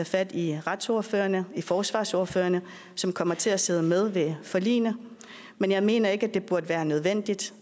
fat i retsordførerne og i forsvarsordførerne som kommer til at sidde med ved forligene men jeg mener ikke at det burde være nødvendigt